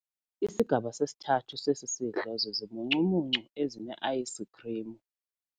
Isigaba sesithathu sesi sidlo zizimuncumuncu ezineayisikhrimu.